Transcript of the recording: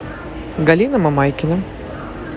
галина мамайкина